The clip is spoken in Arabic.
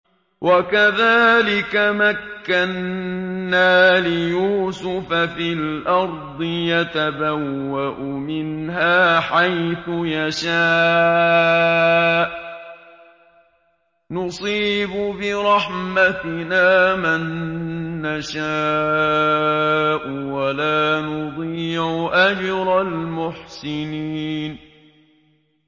وَكَذَٰلِكَ مَكَّنَّا لِيُوسُفَ فِي الْأَرْضِ يَتَبَوَّأُ مِنْهَا حَيْثُ يَشَاءُ ۚ نُصِيبُ بِرَحْمَتِنَا مَن نَّشَاءُ ۖ وَلَا نُضِيعُ أَجْرَ الْمُحْسِنِينَ